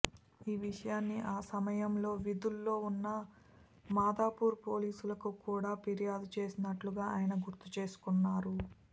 ఈ విషయాన్ని ఆ సమయంలో విధుల్లో ఉన్న మాదాపూర్ పోలీసులకు కూడ ఫిర్యాదు చేసినట్టుగా ఆయన గుర్తు చేసుకొన్నారు